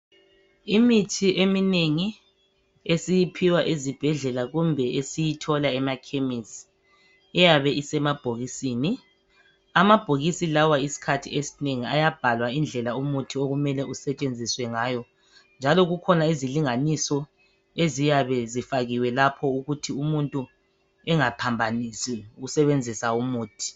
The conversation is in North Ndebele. Imithi eminengi esiyiphiwa ezibhedlela kumbe esiyithola emakhemisi iyabe isemabhokisini. Amabhokisi lawa isikhathi esinengi ayabhalwa indlela umuthi okumele usetshenziswe ngayo njalo kukhona izilinganiso eziyabe zifakiwe lapho. Ukuthi umuntu engaphambanisi ukusebenzisa umuthi.